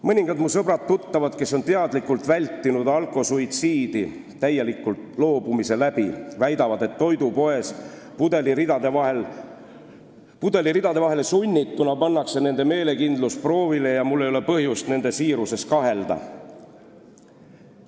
Mõningad mu sõbrad ja tuttavad, kes on alkoholist täielikult loobunud, et teadlikult vältida alkosuitsiidi, väidavad, et toidupoes pudeliridade vahele sunnituna pannakse nende meelekindlus proovile, ja mul ei ole põhjust nende siiruses kahelda.